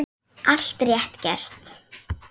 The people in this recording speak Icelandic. Allt rétt gert.